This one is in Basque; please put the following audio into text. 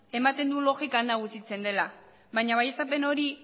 ematen du logikan nagusitzen dela baina baieztapen hori